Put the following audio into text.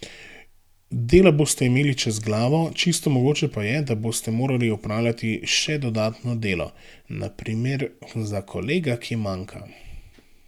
Dela boste imeli čez glavo, čisto mogoče je, da boste morali opravljati še dodatno delo, na primer za kolega, ki manjka.